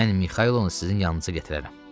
Mən Mixailonu sizin yanınıza gətirərəm.